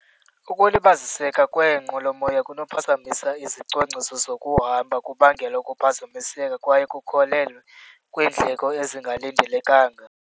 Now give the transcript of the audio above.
Ukulibaziseka kweenqwelomoya kunophazamisa izicwangciso zokuhamba, kubangele ukuphazamiseka kwaye kukholelwe kwiindleko ezingalindelekanga.